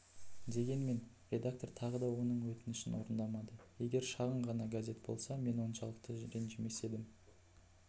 дегенмен редактор тағы да оның өтінішін орындамады егер шағын ғана газет болса мен оншалықты ренжімес едім